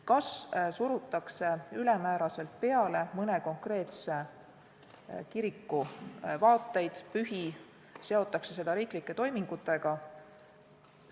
Kas surutakse ülemäära peale mõne konkreetse kiriku vaateid ja pühi, seotakse neid riiklike toimingutega?